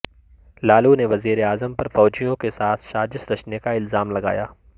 لالو نے وزیر اعظم پر فوجیوں کے ساتھ سازش رچنے کا الزام لگایا